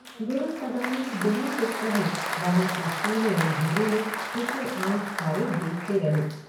गुरु सदानंद बिना कुछ कहे वहाँ के सूने अंधेरे में उसे आंख फाड़े देखते रहे।